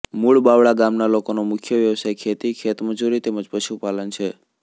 મુળ બાવળા ગામના લોકોનો મુખ્ય વ્યવસાય ખેતી ખેતમજૂરી તેમ જ પશુપાલન છે